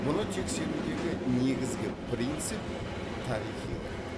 мұны тексерудегі негізгі принцип тарихилық